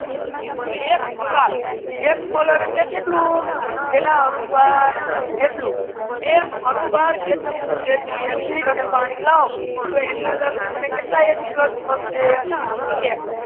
H plus એક mole એટલ કે કેતલુ એક અનુભાર જેટલુ એક અનુભાર જેટલુ acid અને પાણી લાઓ તો એની અંદર થી માને કેતલા એચ વત્તા મલે કહે કે એક